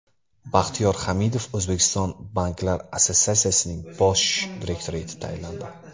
Baxtiyor Hamidov O‘zbekiston banklar assotsiatsiyasining bosh direktori etib tayinlandi.